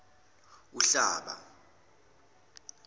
uhlaba